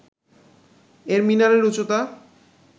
এর মিনারের উচ্চতা